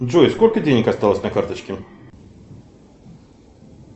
джой сколько денег осталось на карточке